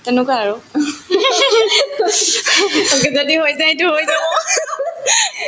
তেনেকুৱা আৰু তেনেকে যদি হৈ যায়তো হৈ যাব